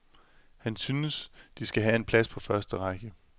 Han syntes, de skal have en plads på første række.